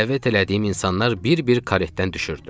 Dəvət elədiyim insanlar bir-bir karetdən düşürdü.